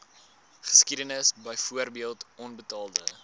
geskiedenis byvoorbeeld onbetaalde